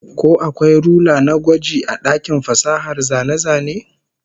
Ko akwai rula na gwaji a dakin fasahar zane-zane?